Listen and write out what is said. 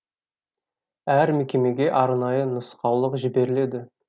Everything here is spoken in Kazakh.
әр мекемеге арнайы нұсқаулық жіберіледі